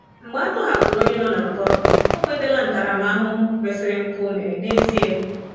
Mgbe a tọhapụrụ onye nọ n'mkpọrọ, O nwetala ntaramahụhụ kwesịrị mpụ o mere n'ezie?